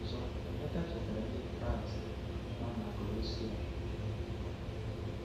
Ọzọ Emeka chetaara Ndị Kraịst nọ na Kolosae ụkpụrụ a.